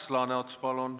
Ants Laaneots, palun!